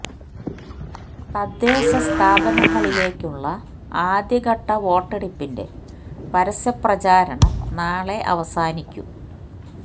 തദ്ദേശ സ്ഥാപനങ്ങളിലേക്കുള്ള ആദ്യ ഘട്ട വോട്ടെടുപ്പിൻ്റെ പരസ്യ പ്രചാരണം നാളെ അവസാനിക്കും